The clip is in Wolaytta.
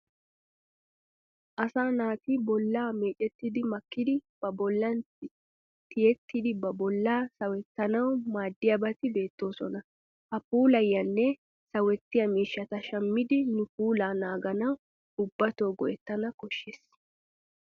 Asaa naati bolla meecetti makkidi ba bollan tiyidi ba bollaa sawettanawu maaddiyabati beettoosona. Ha puulayiyanne sawettiya miishshata shammidi nu puulaa naaganawu ubbatoo go'ettana koshshes.